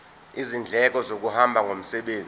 izindleko zokuhamba ngomsebenzi